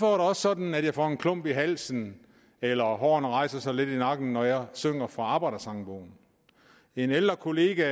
også sådan at jeg får en klump i halsen eller hårene rejser sig lidt i nakken når jeg synger fra arbejdersangbogen en ældre kollega